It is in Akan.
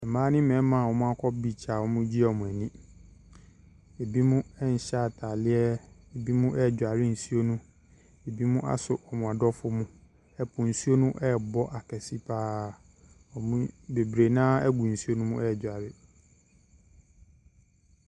Mmaa ne mmarima a wɔakɔ beach a wɔregye wɔn ani. Abinom nhyɛ ataareɛ. Ebinom redware nsuo no. Ebinom asɔ wɔn adɔfo mu. Ɛpo nsuo rebɔ akɛse pa ara. Wɔn mu bebree no ara gu nsuo no mu redware.